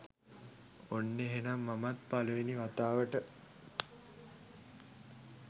ඔන්න එහෙනම් මමත් පලවෙනි වතාවට